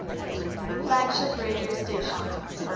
flagship radio station